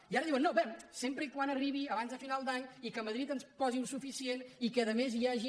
i ara diuen no bé sempre que arribi abans de final d’any i que madrid ens posi un suficient i que a més hi hagi